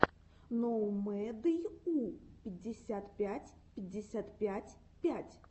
ноумэдйу пятьдесят пять пятьдесят пять пять